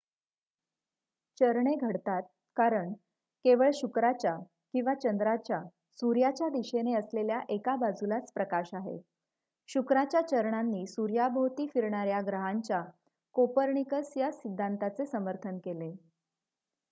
चरणे घडतात कारण केवळ शुक्राच्या किंवा चंद्राच्या सूर्याच्या दिशेने असलेल्या एका बाजूलाच प्रकाश आहे. शुक्राच्या चरणांनी सूर्याभोवती फिरणार्‍या ग्रहांच्या कोपर्निकस या सिद्धांताचे समर्थन केले